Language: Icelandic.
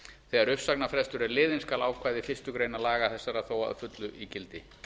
þegar uppsagnarfrestur er liðinn skal ákvæði fyrstu grein laga þessara þó að fullu í gildi